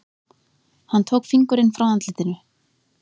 Hann tók fingurinn frá andlitinu.